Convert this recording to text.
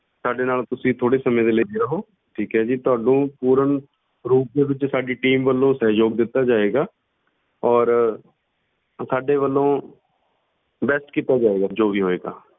ਸਾਡੇ ਨਾਲ ਤੁਸੀਂ ਥੋੜ੍ਹੇ ਸਮੇਂ ਦੇ ਲਈ ਬਣੇ ਰਹੋ ਠੀਕ ਹੈ ਜੀ, ਤੁਹਾਨੂੰ ਪੂਰਨ ਰੂਪ ਦੇ ਵਿੱਚ ਸਾਡੀ team ਵੱਲੋਂ ਸਹਿਯੋਗ ਦਿੱਤਾ ਜਾਏਗਾ ਔਰ ਸਾਡੇ ਵੱਲੋਂ best ਕੀਤਾ ਜਾਏਗਾ ਜੋ ਵੀ ਹੋਏਗਾ।